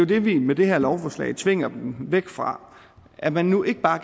det vi med det her lovforslag tvinger dem væk fra at man nu ikke bare